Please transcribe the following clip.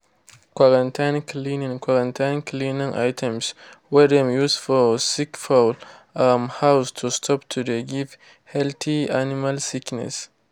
quarantine cleaning quarantine cleaning items wey dem used for sick fowl um house to stop to de give healthy animal sickness.